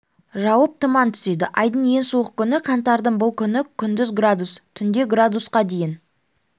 жауып тұман түседі айдың ең суық күні қаңтардың бұл күні күндіз градус түнде градусқа дейін